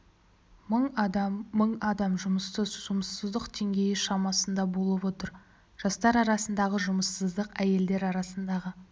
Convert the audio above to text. мың адам мың адам жұмыссыз жұмыссыздық деңгейі шамасында болып отыр жастар арасындағы жұмыссыздық әйелдер арасындағы